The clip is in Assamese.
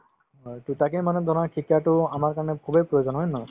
হয়, to তাকে মানে ধৰা শিক্ষাতো আমাৰ কাৰণে খুবেই প্ৰয়োজন হয়নে নহয়